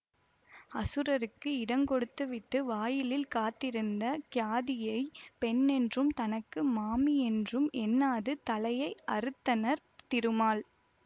அசுரர்க்கு இடங்கொடுத்து வீட்டு வாயிலில் காவலிருந்த கியாதியை பெண்ணென்றும் தனக்கு மாமியென்றும் எண்ணாது தலையை அறுத்தனர் திருமால்